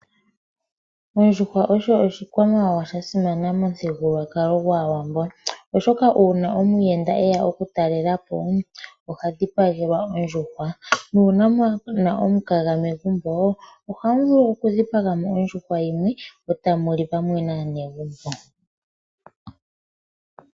Ondjuhwa osho oshikwamawawa sha simana momuthigululwakalo gwaawambo, oshoka uuna omuyenda eya oku talela po oha dhipagelwa ondjuwa nuuna muna omukaga megumbo ohamu vulu oku dhipaga mo ondjuhwa yeni, etamuli pamwe naanegumbo.